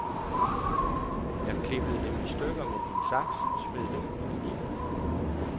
Jeg klippede dem i stykker med din saks og smed dem ud igen.